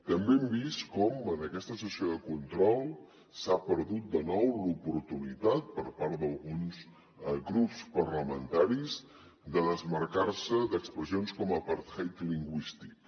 també hem vist com en aquesta sessió de control s’ha perdut de nou l’oportunitat per part d’alguns grups parlamentaris de desmarcar se d’expressions com apartheid lingüístic